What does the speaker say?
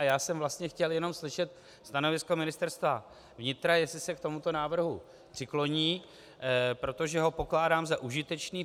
A já jsem vlastně chtěl jenom slyšet stanovisko Ministerstva vnitra, jestli se k tomuto návrhu přikloní, protože ho pokládám za užitečný.